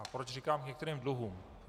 A proč říkám k některým dluhům.